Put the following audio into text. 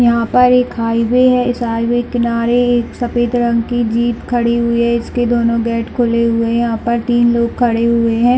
यहाँ पर एक हाईवे है इस हाईवे के किनारे एक सफ़ेद रंग की जीप खड़ी हुई है इसके दोनों गेट खुले हुए है यहाँ पर तीन लोग खड़े हुए है।